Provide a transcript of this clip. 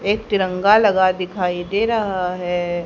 एक तिरंगा लगा दिखाई दे रहा है।